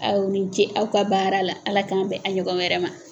Aw ni ce aw ka baara la Ala k'an bɛn a ɲɔgɔnna wɛrɛ ma